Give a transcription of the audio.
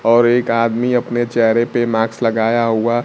और एक आदमी अपने चेहरे पे माक्स लगाया हुआ--